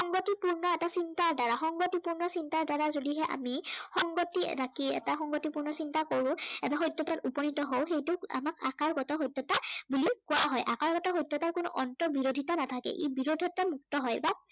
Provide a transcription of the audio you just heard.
সংগতিপূৰ্ণ এটা চিন্তাৰ দ্বাৰা, সংগতিপূৰ্ণ চিন্তাৰ দ্বাৰা যদিহে আমি সংগতি ৰাখি, এটা সংগতিপূৰ্ণ চিন্তা কৰো। এটা সত্য়তাত উপনীত হও সেইটোক আমাক আকাৰগত সত্য়তা বুলি কোৱা হয়। আকাৰগত সত্য়তাৰ কোনো অৰ্ন্ত বিৰোধিতা নাথাকে। ই বিৰোধিতা মুক্ত হয়।